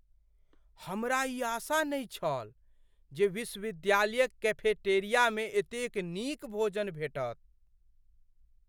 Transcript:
हमरा ई आशा नहि छल जे विश्वविद्यालयक कैफेटेरियामे एतेक नीक भोजन भेटत।